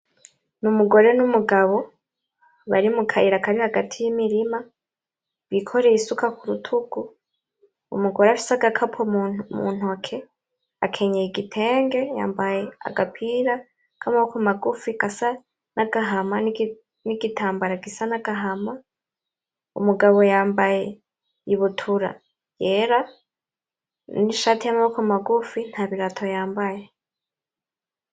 N'umugore n'umugabo bari mu kayira kari hagati y'imirima; bikoreye isuka ku bitugu, umugore afise agakapo mu ntoke akenyeye igitenge, yambaye agapira k'amaboko magufi gasa n'agahama, n'igitambara gisa n'agahama; umugabo yambaye ibutura yera n'ishati y'amaboko magufi ntabirato y'ambaye.